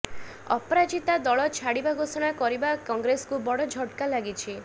ଅପରାଜିତା ଦଳ ଛାଡ଼ିବା ଘୋଷଣା କରିବା କଂଗ୍ରେସକୁ ବଡ଼ ଝଟକା ଲାଗିଛି